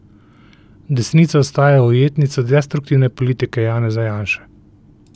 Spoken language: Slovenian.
Desnica ostaja ujetnica destruktivne politike Janeza Janše.